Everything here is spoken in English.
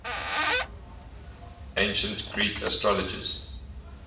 ancient greek astrologers